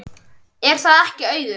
Er það ekki Auður?